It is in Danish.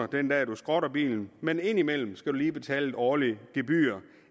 den dag man skrotter bilen men indimellem skal man lige betale et årligt gebyr